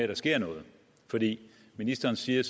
der sker noget ministeren siger